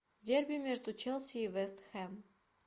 дерби между челси и вест хэм